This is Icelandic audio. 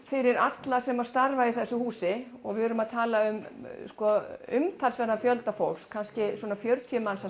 fyrir alla sem starfa í þessu húsi og við erum að tala um umtalsverðan fjölda fólks kannski svona fjörutíu manns að